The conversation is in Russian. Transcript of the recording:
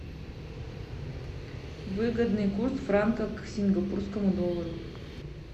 выгодный курс франка к сингапурскому доллару